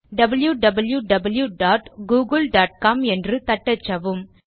wwwgooglecom என்று தட்டச்சவும்